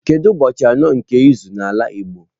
Kedu ụbọchị anọ nke izu n'ala igbo?